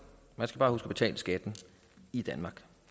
man skal bare huske at betale skatten i danmark